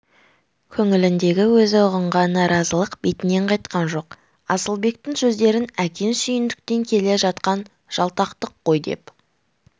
көңіліндегі өзі ұғынған наразылық бетінен қайтқан жоқ асылбектің сөздерін әкең сүйіндіктен келе жатқан жалтақтық қой деп